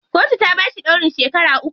Kotu ta bashi ɗaurin shekara uku.